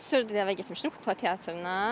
Mən sırf iki il əvvəl getmişdim Kukla teatrına.